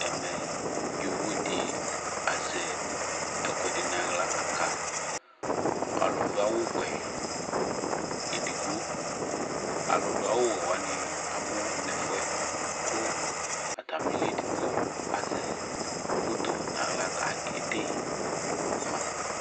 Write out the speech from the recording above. Ɛmɛdɩ yovodɩ azɛ ɛkʊɛdɩ nu aɣla kaka ɔlʊdʊ awʊwɛ edigbo alʊdʊ awʊwɛ wanɩ abu nʊ ɛfʊyɛ ku atamɩlɩ ɔlʊbedigbo azɛ foto kʊ ɔkede ma